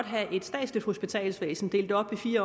have et statsligt hospitalsvæsen delt op i